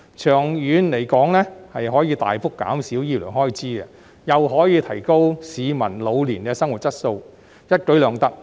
長遠而言，這亦可大幅減少醫療開支及提高市民老年的生活質素，一舉兩得。